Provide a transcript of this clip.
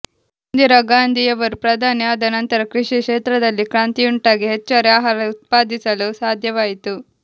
ಇಂದಿರಾ ಗಾಂಧಿ ಯವರು ಪ್ರಧಾನಿ ಆದ ನಂತರ ಕೃಷಿ ಕ್ಷೇತ್ರದಲ್ಲಿ ಕ್ರಾಂತಿಯುಂಟಾಗಿ ಹೆಚ್ಚುವರಿ ಆಹಾರ ಉತ್ಪಾದಿಸಲು ಸಾಧ್ಯವಾಯಿತು